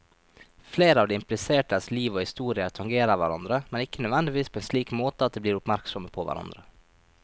Flere av de implisertes liv og historier tangerer hverandre, men ikke nødvendigvis på en slik måte at de blir oppmerksomme på hverandre.